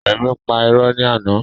Rẹmi pà irọ́ ni àná